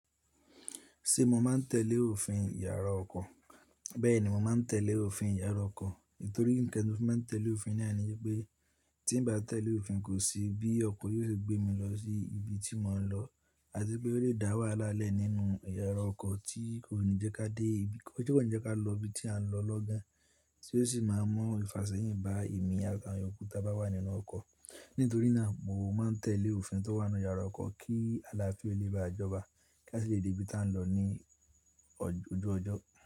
Ṣé mo máa ń tẹ̀lé òfin ìyára ọkọ̀? Bẹ́ẹ̀ni, mo máa ń tẹ̀lé òfin ìyára ọkọ̀. Nítorí ńkan ti mo fi máa n tẹ̀lé òfin náà ni pé tín bá tẹ̀lé òfin kò sí bí ọkọ̀ yóò ṣe gbé mi lọ sí ibi tí mò ń lọ àti pé ó lè dá wàhálà lẹ́ nínú ìyára ọkọ̀ tí kò ní jẹ́ ká dé ibi, kò ní jẹ́ ká lọ ibi tí à ń lọ lọ́gán, tí ó sì máa ń mu ìfàsẹ́yìn bá èmi àti àwọn èèyàn yookù ta bá wà nínú ọkọ̀. Nítorí náà mo máa ń tẹ̀lé òfin tó wà nínú ìyára ọkọ̀ kí àlàáfíà le bá jọba kí a sì lè dé ibi tí à ń lọ ní ojú ọjọ́.